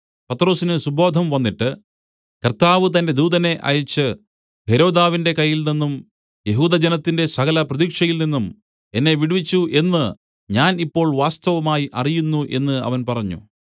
പത്രൊസിന് സുബോധം വന്നിട്ട് കർത്താവ് തന്റെ ദൂതനെ അയച്ച് ഹെരോദാവിന്റെ കയ്യിൽനിന്നും യെഹൂദജനത്തിന്റെ സകല പ്രതീക്ഷയിൽനിന്നും എന്നെ വിടുവിച്ചു എന്ന് ഞാൻ ഇപ്പോൾ വാസ്തവമായി അറിയുന്നു എന്ന് അവൻ പറഞ്ഞു